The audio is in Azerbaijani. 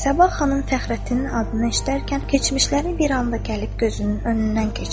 Səbah xanım Fəxrəddinin adını eşidərkən keçmişləri bir anda gəlib gözünün önündən keçdi.